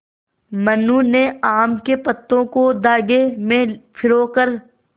मनु ने आम के पत्तों को धागे में पिरो कर